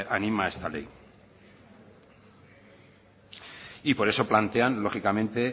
anima esta ley y por eso plantean lógicamente